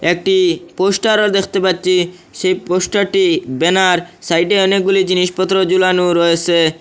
একটি পোস্টারও দেখতে পাচ্ছি সেই পোস্টারটি ব্যানার সাইডে অনেকগুলি জিনিসপত্র ঝোলানো রয়েছে।